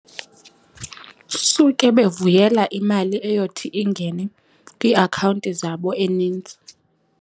Suke bevuyela imali eyothi ingene kwiiakhawunti zabo enintsi.